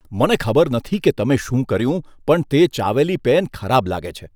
મને ખબર નથી કે તમે શું કર્યું પણ તે ચાવેલી પેન ખરાબ લાગે છે.